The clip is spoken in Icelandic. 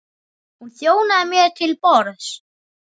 Hún þjónaði mér til borðs.